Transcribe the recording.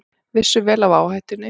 Vissu vel af áhættunni